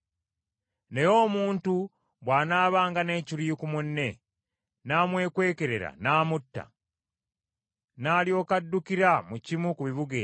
Naye omuntu bw’anaabanga n’ekiruyi ku munne, n’amwekwekerera n’amutta, n’alyoka addukira mu kimu ku bibuga ebyo,